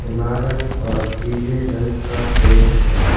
इमारत पर पीले रंग का पेंट है।